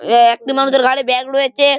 উমম একটি মানুষের ঘাড়ে ব্যাগ রয়েছে ।